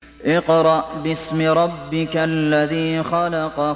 اقْرَأْ بِاسْمِ رَبِّكَ الَّذِي خَلَقَ